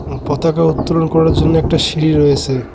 পতাকা উত্তোলন করার জন্য একটা সিঁড়ি রয়েছে।